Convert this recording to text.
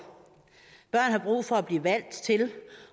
børn har brug for at blive valgt til